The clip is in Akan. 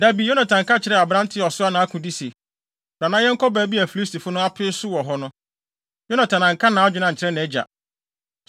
Da bi, Yonatan ka kyerɛɛ aberante a ɔsoa nʼakode se, “Bra na yɛnkɔ baabi a Filistifo no apee so wɔ hɔ no.” Yonatan anka nʼadwene ankyerɛ nʼagya.